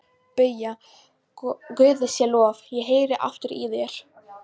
BAUJA: Guði sé lof, ég heyri aftur í þér!